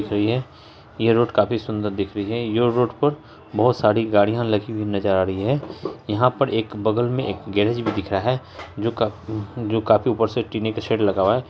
सही है यह रोड काफी सुंदर दिख रही है यह रोड पर बहुत सारी गाड़ियाँ लगी हुई नज़र आ रही हैं यहाँ पर बगल में एक गैरेज भी दिख रहा है जो का जो काफी ऊपर से टीने की शेड लगा हुआ है।